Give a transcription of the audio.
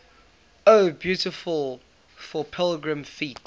o beautiful for pilgrim feet